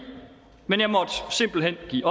men jeg måtte simpelt hen give